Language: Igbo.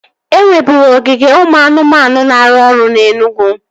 E nweburu ogige ụmụ anụmanụ na-arụ ọrụ na Enugwu